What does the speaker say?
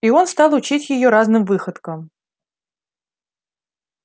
и он стал учить её разным выходкам